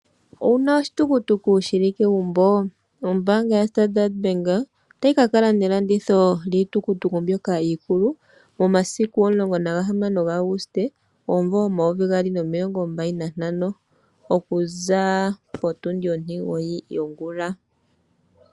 Owu na oshitukutuku shi li kegumbo?, ombaanga yaStandard bank otayi ka kala nelanditho lyiitukutuku mbyoka iikulu momasiku 16 August 2025 okuza potundi ontimugoyi yongula.